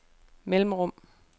mellemrum